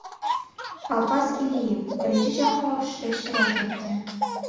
Alpaz Iliyev Birinchi jahon urushida ishtirok etgan.